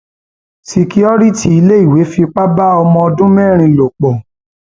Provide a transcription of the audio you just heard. ṣìkìròrìtì iléèwé fipá bá ọmọ ọdún mẹrin lò pọ